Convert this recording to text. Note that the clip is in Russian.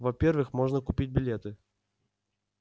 во-первых можно купить билеты